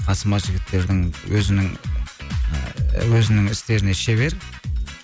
қасыма жігіттердің өзінің ыыы өзінің істеріне шебер